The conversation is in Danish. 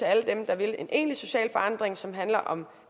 alle dem der vil en egentlig social forandring som handler om